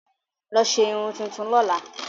Lọ ṣe irun tuntun lọ́la!